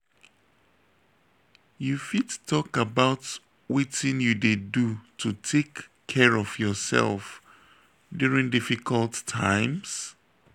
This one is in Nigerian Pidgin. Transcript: you fit talk about wetin you dey do to take care of yourself during difficult times?